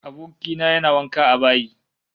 Aboki na yana wanka a bayi